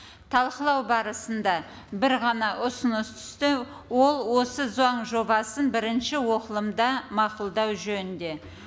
талқылау барысында бір ғана ұсыныс түсті ол осы заң жобасын бірінші оқылымда мақұлдау жөнінде